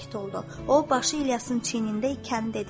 O, başı İlyasın çiynində ikən dedi: